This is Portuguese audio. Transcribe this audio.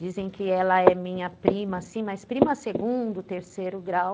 Dizem que ela é minha prima, sim, mas prima segundo, terceiro grau.